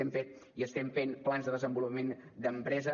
hem fet i estem fent plans de desenvolupament d’empresa